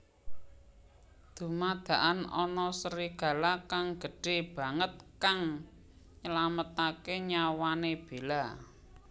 Dumadakan ana serigala kang gédhé banget kang nylamataké nyawané Bella